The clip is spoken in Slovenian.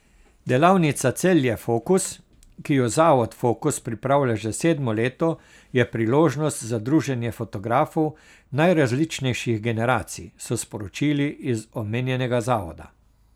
Delavnica Celje Fokus, ki jo Zavod Fokus pripravlja že sedmo leto, je priložnost za druženje fotografov najrazličnejših generacij, so sporočili iz omenjenega zavoda.